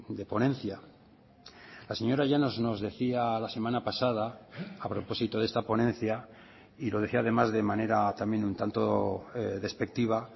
de ponencia la señora llanos nos decía la semana pasada a propósito de esta ponencia y lo decía además de manera también un tanto despectiva